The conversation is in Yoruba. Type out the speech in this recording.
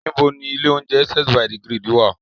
Níbo ni ilé-oúnjẹ Essence by the Grid wá à?